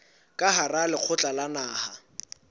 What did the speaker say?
ka hara lekgotla la naha